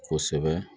Kosɛbɛ